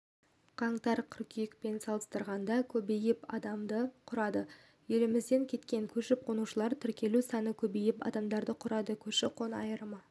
қаңтар-қыркүйекпен салыстырғанда көбейіп адамды құрады елімізден кеткен көшіп-қонушылардың тіркелу саны көбейіп адамды құрады көші-қонның айырымы